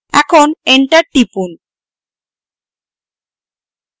এবং enter টিপুন